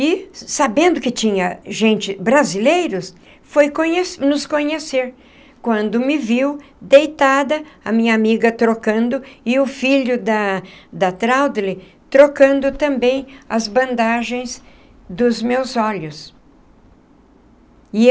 E, sabendo que tinha gente brasileiros, foi conhe nos conhecer... quando me viu deitada... a minha amiga trocando... e o filho da da Traudly... trocando também as bandagens dos meus olhos.